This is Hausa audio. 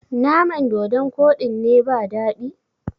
naman dodon Koɗin ne ba dadi?